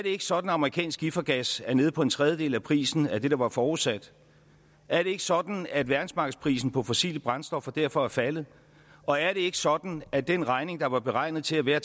ikke sådan at amerikansk skifergas er nede på en tredjedel af prisen af det der var forudsat er det ikke sådan at verdensmarkedsprisen på fossile brændstoffer derfor er faldet og er det ikke sådan at den regning der var beregnet til at være